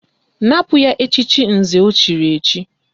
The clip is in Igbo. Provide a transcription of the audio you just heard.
Napụ ya echiche nze o chiri echi!